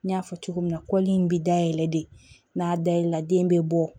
N y'a fɔ cogo min na in bi dayɛlɛ de n'a dayɛlɛ la den bɛ bɔ